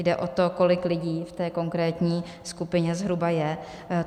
Jde o to, kolik lidí v té konkrétní skupině zhruba je.